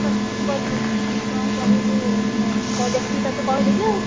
କଣ କହିବୁ ମୁଁ ଦେଖିକି ତତେ କହିଦେବି ଆଉ।